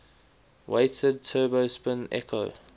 weighted turbo spin echo